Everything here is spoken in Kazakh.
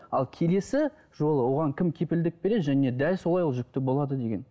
ал келесі жолы оған кім кепілдік береді және дәл солай ол жүкті болады деген